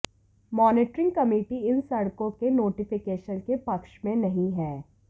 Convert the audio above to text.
monitoring committee इन सड़कों के नोटिफिकेशन के पक्ष में नहीं है